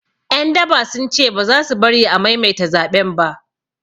Ƴan daba sun ce baza su bari a maimaita zaɓen ba